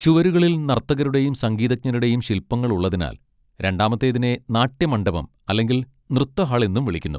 ചുവരുകളിൽ നർത്തകരുടെയും സംഗീതജ്ഞരുടെയും ശിൽപങ്ങൾ ഉള്ളതിനാൽ രണ്ടാമത്തേതിനെ നാട്യ മണ്ഡപം അല്ലെങ്കിൽ നൃത്ത ഹാൾ എന്നും വിളിക്കുന്നു.